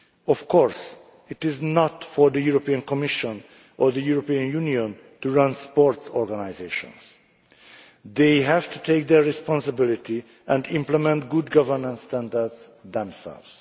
Of course, it is not for the European Commission or the European Union to run sports organisations. They have to take responsibility and implement good governance standards themselves.